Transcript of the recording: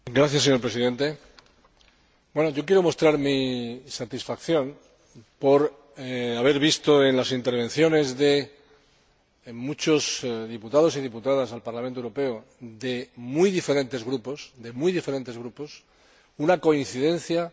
Quiero mostrar mi satisfacción por haber visto en las intervenciones de muchos diputados y diputadas al Parlamento Europeo, de muy diferentes grupos, una coincidencia en la necesidad